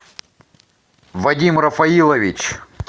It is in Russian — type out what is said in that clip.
вадим рафаилович